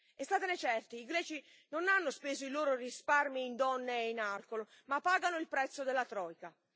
E statene certi, i greci non hanno speso i loro risparmi in donne e in alcol, ma pagano il prezzo della troika.